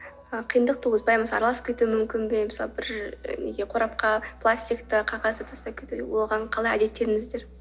ы қиындық туғызбай ма араласып кетуі мүмкін бе мысалы бір неге қорапқа пластикті қағазды оған қалай әдеттендіңіздер